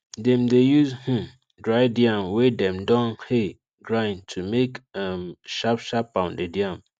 dem dey use um dried yam wey dem don um grind to take make um sharp sharp pounded yam